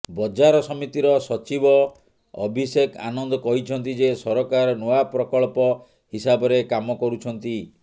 ବଜାର ସମିତିର ସଚିବ ଅଭିଷେକ ଆନନ୍ଦ କହିଛନ୍ତି ଯେ ସରକାର ନୂଆ ପ୍ରକଳ୍ପ ହିସାବରେ କାମ କରୁଛନ୍ତି